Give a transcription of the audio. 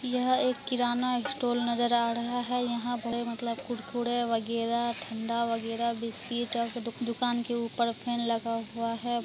यह एक किरणा स्टोर नजर आ रहा है यहाँ पे मतलब की कुरकुरे वगेरा ठंडा वगेरा बिस्कुट दुकान के उपर फैन लगा हुआ हैं।